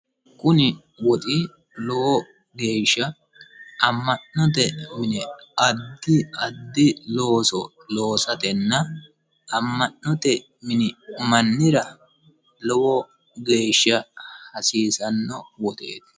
Kuni woxi lowo geeshsha amma'note mine addi addi looso loosatenna lowo amma'note mini mannira lowo geesha hasiissanno woxeeti.